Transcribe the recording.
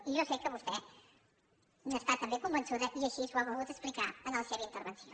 i jo sé que vostè n’està també convençuda i així ho ha volgut explicar en la seva intervenció